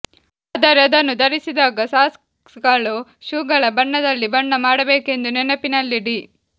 ಆದರೆ ಅದನ್ನು ಧರಿಸಿದಾಗ ಸಾಕ್ಸ್ಗಳು ಶೂಗಳ ಬಣ್ಣದಲ್ಲಿ ಬಣ್ಣ ಮಾಡಬೇಕೆಂದು ನೆನಪಿನಲ್ಲಿಡಿ